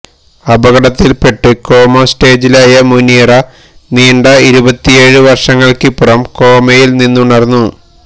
അപകടത്തില്പ്പെട്ട് coma സ്റ്റേജിലായ മുനീറ നീണ്ട ഇരുപത്തിയേഴ് വര്ഷങ്ങള്ക്കിപ്പുറം കോമയില് നിന്നുണര്ന്നു